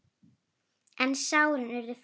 En sárin urðu fleiri.